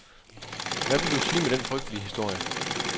Hvad vil du sige med den frygtelige historie?